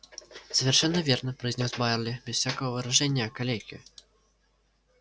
совершенно верно произнёс байерли без всякого выражения калеки